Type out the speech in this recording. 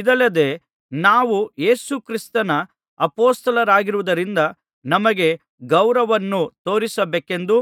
ಇದಲ್ಲದೆ ನಾವು ಯೇಸು ಕ್ರಿಸ್ತನ ಅಪೊಸ್ತಲರಾಗಿರುವುದರಿಂದ ನಮಗೆ ಗೌರವವನ್ನು ತೋರಿಸಬೇಕೆಂದು